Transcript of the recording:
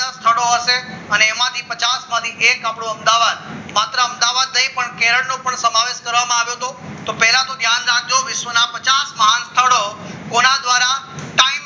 બીજા સ્થળો હશે એમાંથી પચાસ માંથી એક આપણું અમદાવાદ માત્ર અમદાવાદ નહીં પણ કેરલનો પણ સમાવેશ કરવામાં આવ્યો હતો? તો પહેલા તો ધ્યાન રાખજો વિશ્વના પચાસ માણસ કોના દ્વારા ટાઈમ